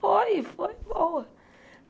Foi, foi boa.